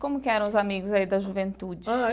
Como que eram os amigos aí da juventude? Ah.